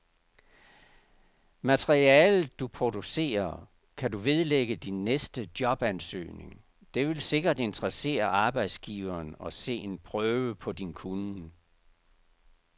Materialet, du producerer, kan du vedlægge din næste jobansøgning, det vil sikkert interessere arbejdsgiveren at se en prøve på din kunnen.